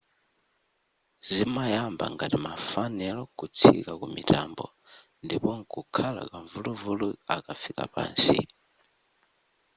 zimayamba ngati ma fanelo kutsika kumitambo ndipo nkukhala kamvuluvulu akafika pansi